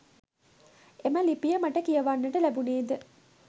එම ලිපිය මට කියවන්නට ලැබුණේ ද